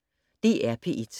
DR P1